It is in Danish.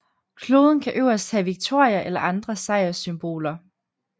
Kloden kan øverst have Victoria eller andre sejrssymboler